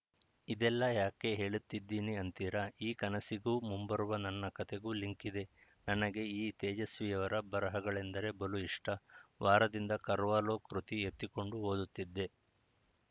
ಇದೆಲ್ಲಾ ಯಾಕೆ ಹೇಳತ್ತಿದ್ದೀನಿ ಅಂತೀರಾ ಈ ಕನಸಿಗೂ ಮುಂಬರುವ ನನ್ನ ಕಥೆಗೂ ಲಿಂಕ್‌ ಇದೆ ನನಗೆ ಈ ತೇಜಸ್ವಿಯವರ ಬರಹಗಳೆಂದರೆ ಬಲು ಇಷ್ಟ ವಾರದಿಂದ ಕರ್ವಾಲೋ ಕೃತಿ ಎತ್ತಿಕೊಂಡು ಓದುತ್ತಿದ್ದೆ